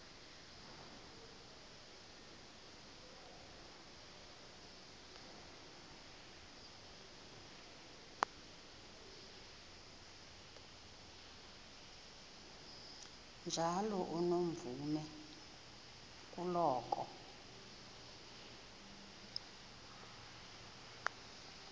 njalo unomvume kuloko